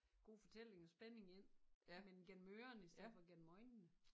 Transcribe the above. God fortælling og spænding ind men gennem ørerne i stedet for gennem øjnene